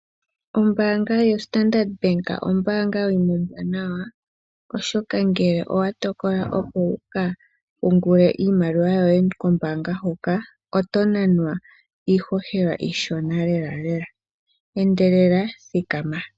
Ombanga yo Standard Bank ombanga yimwe ombwanawa oshoka ngele owa tokola oku kapungula iimaliwa yoye kombanga huka oto nanwa ishoshela ishona lela lela , endelela thikama.